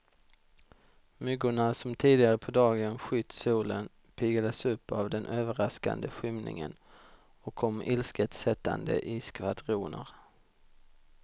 Myggorna som tidigare på dagen skytt solen, piggades upp av den överraskande skymningen och kom ilsket sättande i skvadroner.